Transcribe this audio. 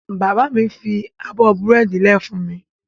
Bàbá mi fi abọ́ búrẹ́dì lẹ̀ fún mi.